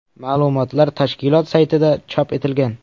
Ma’lumotlar tashkilot saytida chop etilgan .